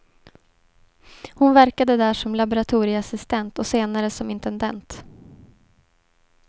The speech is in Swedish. Hon verkade där som laboratorieassistent och senare som intendent.